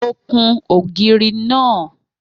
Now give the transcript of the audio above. Mo kun ògiri náà